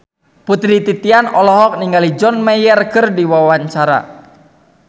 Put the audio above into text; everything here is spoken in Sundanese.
Putri Titian olohok ningali John Mayer keur diwawancara